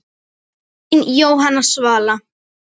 Þín Jóhanna Svala.